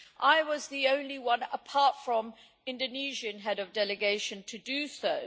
I was the only one, apart from the Indonesian Head of Delegation, to do so.